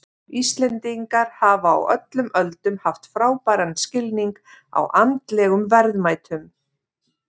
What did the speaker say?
Íslendingar hafa á öllum öldum haft frábæran skilning á andlegum verðmætum.